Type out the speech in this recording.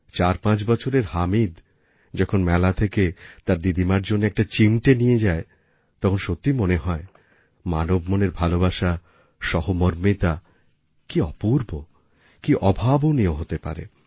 চারপাঁচ বছরের হামিদ যখন মেলা থেকে তার দিদিমার জন্য একটি চিমটে নিয়ে যায় তখন সত্যিই মনে হয় মানব মনের ভালোবাসা সহমর্মিতা কী অপূর্ব কী অভাবনীয় হতে পারে